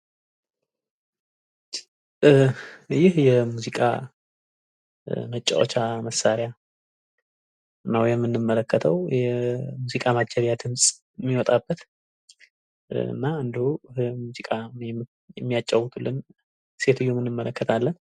እ ይህ የሙዚቃ መጫወቻ መሳሪያ ነው የምንመለከተው። የሙዚቃ ማጀቢያ ድምፅ የሚወጣበት እና እንዲሁም ሙዚቃ የሚያጫውትልን ሴትዮ እንመለከታለን።